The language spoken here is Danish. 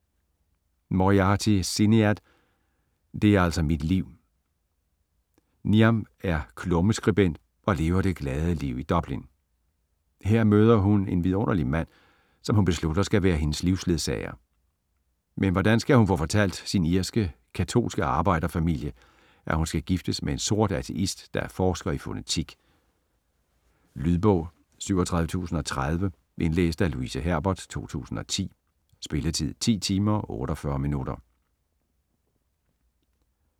Moriarty, Sinéad: Det er altså mit liv Niamh er klummeskribent og lever det glade liv i Dublin. Her møder hun en vidunderlig mand, som hun beslutter skal være hendes livsledsager. Men hvordan skal hun få fortalt sin irske, katolske arbejder-familie, at hun skal giftes med en sort ateist, der er forsker i fonetik? Lydbog 37030 Indlæst af Louise Herbert, 2010. Spilletid: 10 timer, 48 minutter.